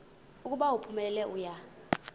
ukuba uphumelele uya